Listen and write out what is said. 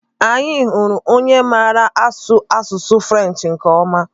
Anyị hụrụ onye maara asụ asụsụ French nke ọma.